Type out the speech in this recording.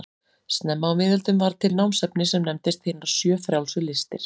Snemma á miðöldum varð til námsefni sem nefndist hinar sjö frjálsu listir.